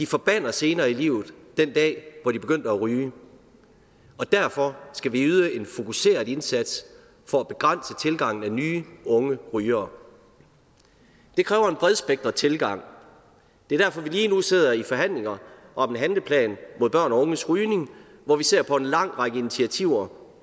forbander senere i livet den dag hvor de begyndte at ryge og derfor skal vi yde en fokuseret indsats for at begrænse tilgangen af nye unge rygere det kræver en bredspektret tilgang og det er derfor vi lige nu sidder i forhandlinger om en handleplan om børn og unges rygning hvor vi ser på en lang række initiativer